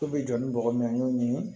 I bɛ jɔ ni bɔgɔ min ye